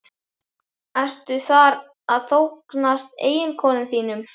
Ertu þar að þóknast eiginkonum þínum?